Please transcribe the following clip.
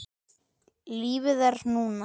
Lífið er núna!